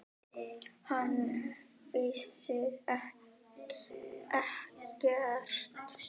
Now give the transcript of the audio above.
Hann vissi ekkert.